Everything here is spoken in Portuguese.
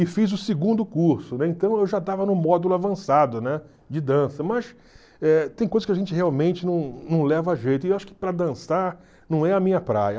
e fiz o segundo curso, né, então eu já estava no módulo avançado, né, de dança, mas eh tem coisas que a gente realmente não não leva jeito, e acho que para dançar não é a minha praia.